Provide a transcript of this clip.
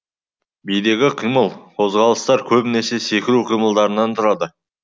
бидегі қимыл қозғалыстар көбінесе секіру қимылдарыннан тұрады